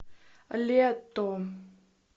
летто